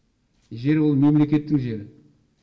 жер ол мемлекеттің жері